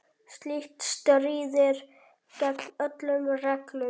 Slíkt stríðir gegn öllum reglum.